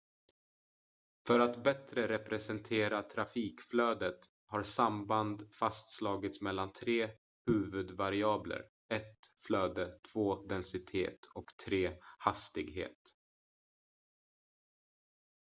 för att bättre representera trafikflödet har samband fastslagits mellan tre huvudvariabler: 1 flöde 2 densitet och 3 hastighet